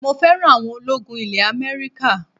mo fẹ́ràn awọn ológun ilẹ̀ America